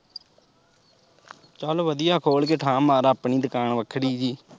ਚੱਲ ਵਧੀਆ ਖੋਲ ਕੇ ਠਾਹ ਮਾਰ ਆਪਣੀ ਦੁਕਾਨ ਵੱਖਰੀ ਜਿਹੀ।